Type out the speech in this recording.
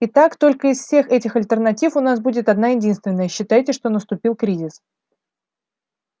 и как только из всех этих альтернатив у нас будет одна-единственная считайте что наступил кризис